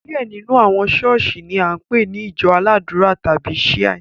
Diẹ nínú àwọn ṣọ̀ọ́sì ni a npe ni ìjọ aládùra tàbi Shia.